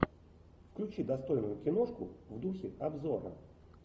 включи достойную киношку в духе обзора